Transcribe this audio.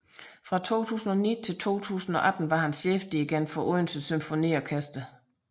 Fra 2009 til 2018 var han chefdirigent for Odense Symfoniorkester